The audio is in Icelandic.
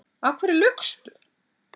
Af hverju laugstu?